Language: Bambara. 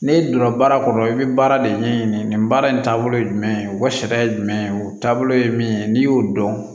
N'e donna baara kɔnɔ i bɛ baara de ɲɛɲini nin baara in taabolo ye jumɛn ye o sariya ye jumɛn ye o taabolo ye min ye n'i y'o dɔn